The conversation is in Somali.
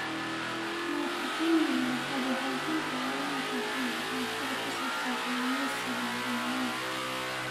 Waan ka xunnahay, waxaad u baahan tahay inaad hesho waxbarasho ku saabsan kalluumeysiga horumarinta.